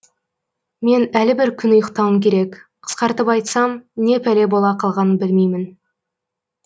мен әлі бір күн ұйықтауым керек қысқартып айтсам не пәле бола қалғанын білмеймін